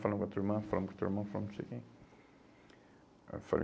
Falamos com a tua irmã, falamos com o teu irmão, falamos com não sei quem. Aí eu falei